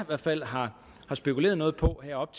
hvert fald har spekuleret på her op